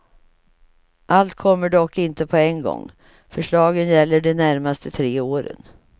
Allt kommer dock inte på en gång, förslagen gäller de närmaste tre åren.